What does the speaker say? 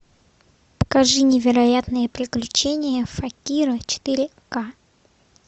покажи невероятные приключения факира четыре ка